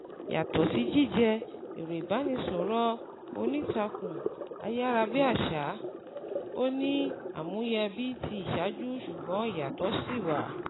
Yàtọ̀ sí jíjẹ́ ẹ̀rọ ìbánisọ̀rọ̀ onítàkùn ayára bí àṣá, ó ní àmúyẹ bíi ti ìṣáájú ṣùgbọ́n ìyàtọ̀ sì wà